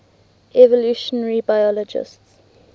evolutionary biologists